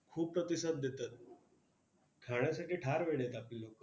खूप प्रतिसाद देतात. खाण्यासाठी फार वेडे आहेत आपली लोकं.